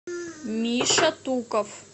миша туков